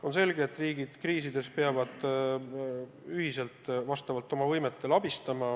On selge, et kriiside ajal peavad riigid üksteist ühiselt, aga vastavalt oma võimetele abistama.